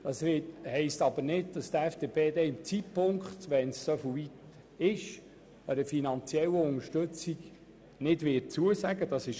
Das bedeutet aber nicht, dass die FDP zum entsprechenden Zeitpunkt einer finanziellen Unterstützung nicht zustimmen wird.